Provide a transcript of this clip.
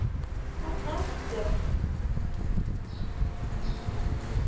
Þarna ertu!